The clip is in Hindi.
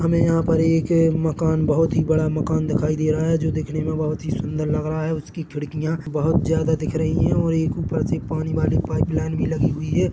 हमे यहां पर एक मकान बहोत ही बड़ा मकान दिखाई दे रहा है जो दिखने में बहोत ही सुंदर लग रहा हैउसकी खिड़कियां बहोत ही ज्यादा दिख रही है और एक ऊपर एक पानी वाली पाईपलाइन भी लगी हुई है।